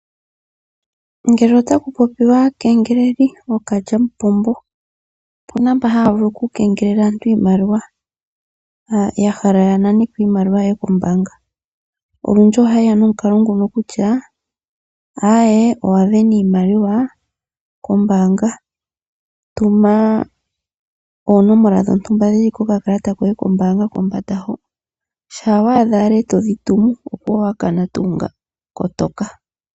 Ngele otaku popiwa aakengeleli, ano ookalyamupombo opuna mboka haya vulu oku kengelela aantu iimaliwa. Yahala yananeko iimaliwa yoye kombaanga. Olundji ohaye ya nomukalo nguno kutya, owasindana oshimaliwa kombaanga, tuma oonomola dhontumba dhoka dhili kokakakata koye kombaanga kombanda, shampa wa adha ndele todhi tuma, opuwo owakana tuu ngaaka ano kotoka.